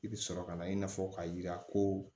I bɛ sɔrɔ ka na i n'a fɔ ka yira ko